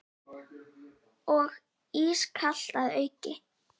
Og ískalt að auki.